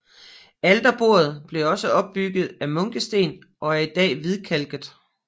Alterbordet blev også opbygget af munkesten og er i dag hvidkalket